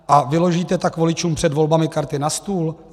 A vyložíte tak voličům před volbami karty na stůl?